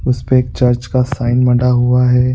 उसपे एक चर्च का साईन बना हुआ है।